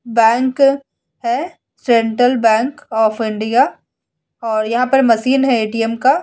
Bank है। Central Bank of India और यहां पर मशीन है ए.टी.एम. का।